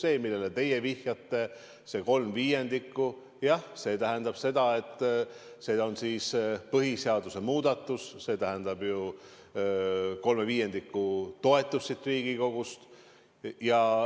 See, millele teie vihjasite, see kolm viiendikku – jah, see tähendab seda, et kui tegu on põhiseaduse muudatusega, siis see eeldab kolme viiendiku toetust siin Riigikogus.